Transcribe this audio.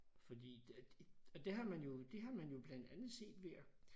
Fordi og det har man jo det har man jo blandet andet set ved at